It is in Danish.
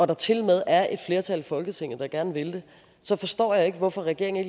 der tilmed er et flertal i folketinget der gerne vil det så forstår jeg ikke hvorfor regeringen